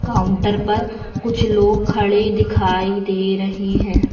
Counter पर कुछ लोग खड़े दिखाई दे रहे हैं।